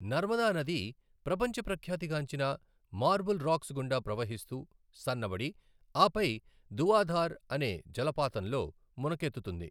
నర్మదా నది ప్రపంచ ప్రఖ్యాతి గాంచిన మార్బుల్ రాక్స్ గుండా ప్రవహిస్తూ, సన్నబడి, ఆపై ధువాధార్ అనే జలపాతంలో మునకెత్తుతుంది.